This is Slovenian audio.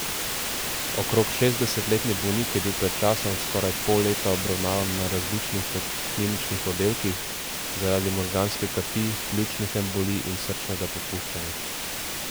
Okrog šestdesetletni bolnik je bil pred časom skoraj pol leta obravnavan na različnih kliničnih oddelkih zaradi možganske kapi, pljučnih embolij in srčnega popuščanja.